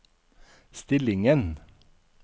stillingen